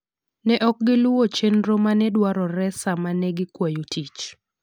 Ne ok giluw chenro ma ne dwarore sama ne gikwayo tich.